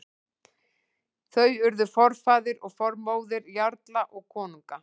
Þau urðu forfaðir og formóðir jarla og konunga.